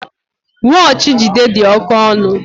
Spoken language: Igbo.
Wọọchi Jide dị oke ọnụ